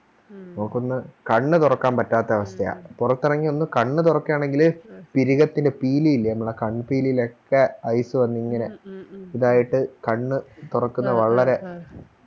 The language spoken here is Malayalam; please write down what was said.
നമുക്കൊന്ന് കണ്ണ് തൊറക്കാൻ പറ്റാത്ത അവസ്ഥയാ പുറത്തിറങ്ങി ഒന്ന് കണ്ണ് തൊറക്കെയാണെങ്കില് പിരിഗത്തിലെ പീലി ഇല്ലേ നമ്മളെ കൺപീലിയിലൊക്കെ Ice വന്നിങ്ങനെ ഇതായിട്ട് കണ്ണ് തുറക്കുന്നേ വളരെ